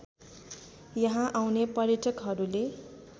यहाँ आउने पर्यटकहरूले